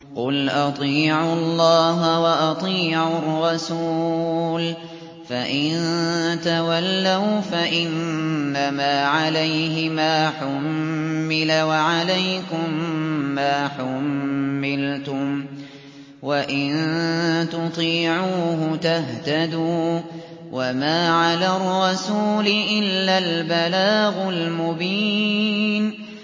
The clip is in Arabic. قُلْ أَطِيعُوا اللَّهَ وَأَطِيعُوا الرَّسُولَ ۖ فَإِن تَوَلَّوْا فَإِنَّمَا عَلَيْهِ مَا حُمِّلَ وَعَلَيْكُم مَّا حُمِّلْتُمْ ۖ وَإِن تُطِيعُوهُ تَهْتَدُوا ۚ وَمَا عَلَى الرَّسُولِ إِلَّا الْبَلَاغُ الْمُبِينُ